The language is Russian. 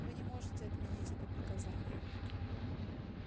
вы не можете отменить это приказание